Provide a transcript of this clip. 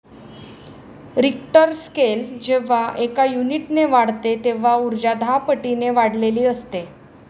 Richter scale जेव्हा एका युनिटने वाढते तेव्हा उर्जा दहापटीने वाढलेली असते.